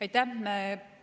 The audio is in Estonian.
Aitäh!